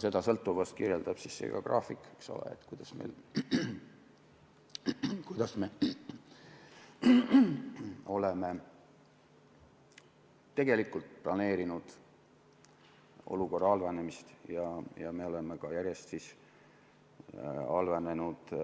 Seda sõltuvust kirjeldab ka see graafik, kuidas me oleme planeerinud olukorra halvenemist ja see on järjest halvenenud